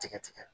Tigɛ tigɛ